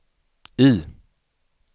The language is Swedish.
I